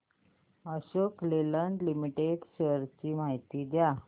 Ashok Leyland limited shares ची माहिती द्या